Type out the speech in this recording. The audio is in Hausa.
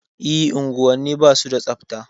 E, unguwanni ba su da tsabta.